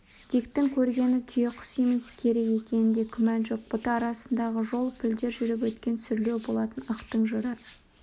диктің көргені түйеқұс емес керік екенінде күмән жоқ бұта арасындағы жол пілдер жүріп өткен сүрлеу болатын ықтың жыра